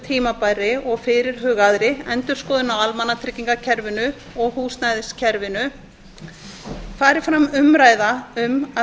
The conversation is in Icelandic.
tímabærri og fyrirhugaðri endurskoðun á almannatryggingakerfinu og húsnæðiskerfinu fari fram umræða um að